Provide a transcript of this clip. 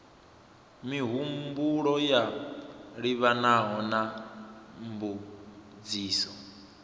mihumbulo yo livhanaho na mbudziso